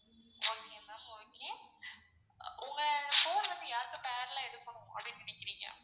okay ma'am okay உங்க phone வந்து யார்க்கு பேர்ல எடுக்கணும் அப்படின்னு நினைக்குறீங்க?